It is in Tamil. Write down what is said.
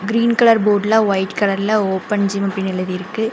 கிரீன் கலர் போர்டுல ஒயிட் கலர்ல ஓப்பன் ஜிம்னு எழுதிருக்கு.